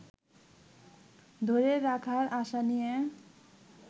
ধরে রাখার আশা নিয়ে